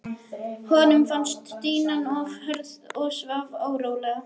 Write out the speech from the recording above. Honum fannst dýnan of hörð og svaf órólega.